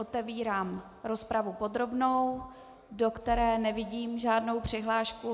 Otevírám rozpravu podrobnou, do které nevidím žádnou přihlášku.